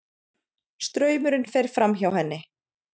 Straumurinn fer fram- hjá henni.